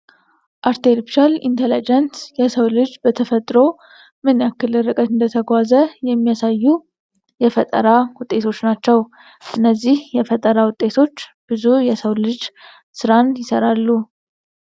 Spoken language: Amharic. አርቲፊሻል ኢንተለጀንስ የሰው ልጅ በቴክኖሎጂ ምን ያክል ርቀትን እንደተጓዘ የሚያሳዩ የፈጠራ ውጤቶች ናቸው። እነዚህ የፈጠራ ውጤቶች ብዙ የሰው ልጅ ስራን ይሰራሉ።